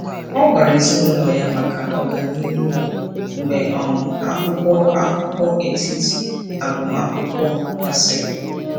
Ọ gwara ezinaụlọ ya maka ọganihu ya mgbe um akwụkwọ akụkọ etiti agụmakwụkwọ gasịrị.